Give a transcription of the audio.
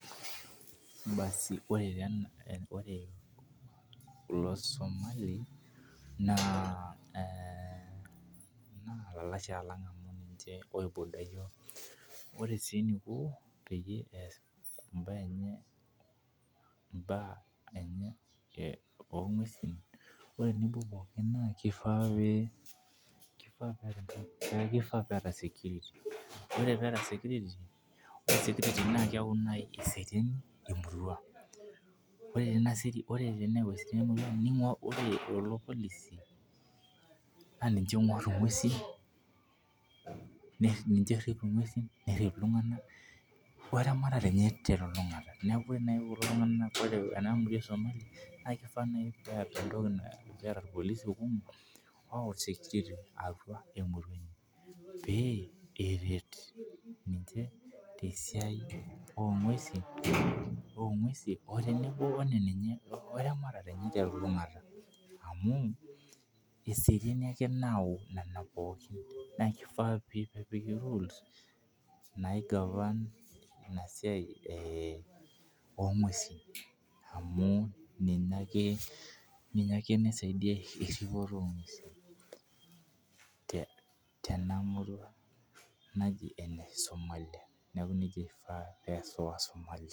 Ore kulo Somali naa elalashare lang ore sii enikoo pee eas esiai enye oo ng'uesi naa kifaa pee etaa security neeku keserian tee mpurore ore teneyau eseriani ore lelo polisi naa ninche oingor enguesi neinche orip enguesi weramatare enye telulung'ata neeku ore naaji kulo tungana naa kifaa pee etaa irpolisi kumok oyawu security atua emurua enye pee eret ninche tee siai oo ng'uesi otenebo Nena enye orematere neye telulung'ata amu eseriani nayau Nena pookin naa kifaa pee epiki rules naigavan ana siai oo ng'uesi amu ninye ake nisaidia eripoto oo ng'uesi teneamurua naaji ene Somali neeku nejia eifaa pee eas wasomali